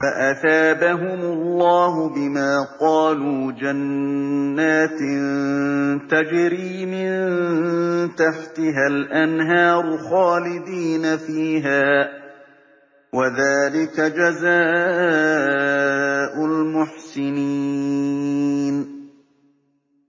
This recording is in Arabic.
فَأَثَابَهُمُ اللَّهُ بِمَا قَالُوا جَنَّاتٍ تَجْرِي مِن تَحْتِهَا الْأَنْهَارُ خَالِدِينَ فِيهَا ۚ وَذَٰلِكَ جَزَاءُ الْمُحْسِنِينَ